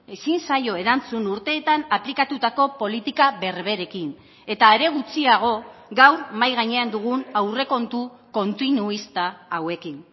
ezin zaio erantzun urteetan aplikatutako politika berberekin eta are gutxiago gaur mahai gainean dugun aurrekontu kontinuista hauekin